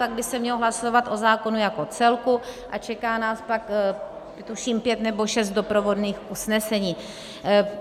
Pak by se mělo hlasovat o zákonu jako celku a čeká nás pak tuším pět nebo šest doprovodných usnesení.